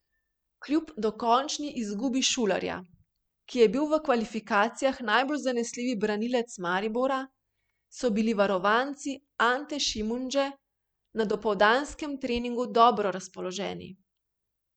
Kljub dokončni izgubi Šulerja, ki je bil v kvalifikacijah najbolj zanesljivi branilec Maribora, so bili varovanci Ante Šimundže na dopoldanskem treningu dobro razpoloženi.